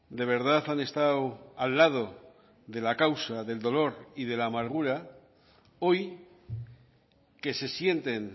de verdad han estado al lado de la causa del dolor y de la amargura hoy que se sienten